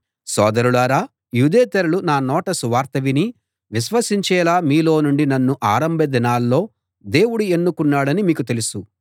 సోదరులారా యూదేతరులు నా నోట సువార్త విని విశ్వసించేలా మీలో నుండి నన్ను ఆరంభ దినాల్లో దేవుడు ఎన్నుకున్నాడని మీకు తెలుసు